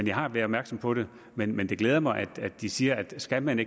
jeg har været opmærksom på det men men det glæder mig at de siger at skal man